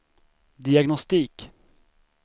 diagnostik